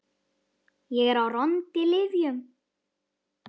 Ég er á róandi lyfjum.